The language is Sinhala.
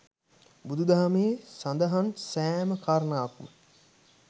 බුදු දහමේ සඳහන් සෑම කාරණාවක්ම